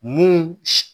Mun